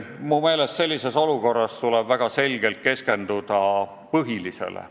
Mu meelest sellises olukorras tuleb keskenduda põhilisele.